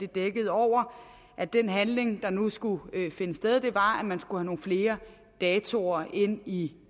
dækkede over at den handling der nu skulle finde sted var at man skulle have nogle flere datoer ind i